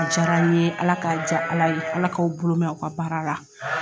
A jara n ye Ala ka ja Ala ye Ala k'aw bolo mɛn aw ka baara la.